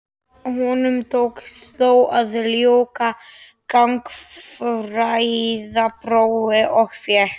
Honum tókst þó að ljúka gagnfræðaprófi og fékk